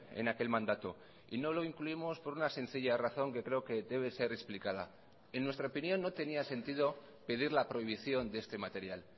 en aquel mandato y no lo incluimos por una sencilla razón que creo que debe ser explicada en nuestra opinión no tenía sentido pedir la prohibición de este material